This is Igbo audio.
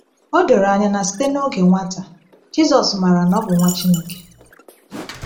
O doro anya na site n’oge nwata, Jizọs mara na ọ bụ Nwa Chineke.